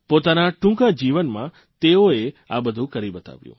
પોતાના ટૂંકા જીવનમાં તેઓએ આ બધું કરી બતાવ્યું